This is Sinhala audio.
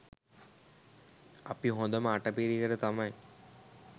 අපි හොඳම අට පිරිකර තමයි